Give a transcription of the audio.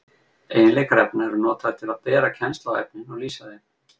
Eiginleikar efna eru notaðir til að bera kennsl á efnin og lýsa þeim.